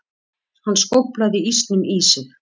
Hann skóflaði ísnum í sig.